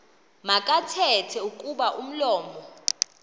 makathethe kuba umlomo